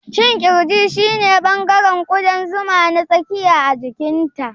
Shin ƙirji shine ɓangaren ƙudan zuma na tsakiya a jikinta?